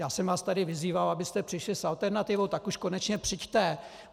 Já jsem vás tu vyzýval, abyste přišli s alternativou, tak už konečně přijďte!